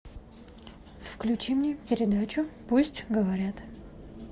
включи мне передачу пусть говорят